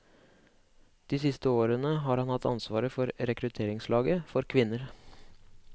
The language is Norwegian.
De siste årene har han hatt ansvaret for rekrutteringslaget for kvinner.